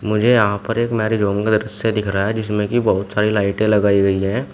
मुझे यहां पर एक मैरिज होम का दृश्य दिख रहा है जिसमें की बहुत सारी लाइटे लगाई गई है।